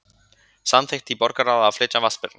Samþykkt í borgarráði að flytja Vatnsberann